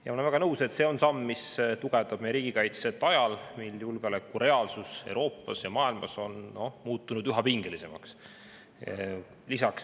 Ma olen väga nõus, et see on samm, mis tugevdab meie riigikaitset ajal, mil julgeoleku reaalsus Euroopas ja mujal maailmas on muutunud üha pingelisemaks.